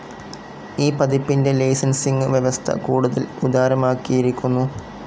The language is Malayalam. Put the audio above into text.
ഈ പതിപ്പിൻ്റെ ലൈസൻസിംഗ്‌ വ്യവസ്ഥ കൂടുതൽ ഉദാരമാക്കിയിരിക്കുന്നു.